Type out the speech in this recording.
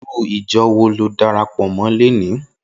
Irú ijò wó ló dàrápò mò làná?